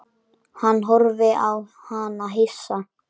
Hann horfði á hana hissa.